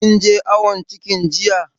Kin je awon ciki jiya?